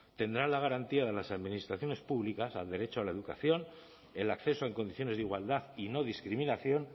tendrá la garantía de las administraciones públicas al derecho a la educación el acceso en condiciones de igualdad y no discriminación